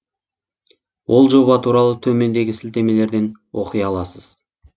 ол жоба туралы төмендегі сілтемелерден оқи аласыз